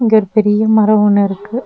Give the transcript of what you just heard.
இங்க ஒரு பெரிய மரோ ஒன்னு இருக்கு.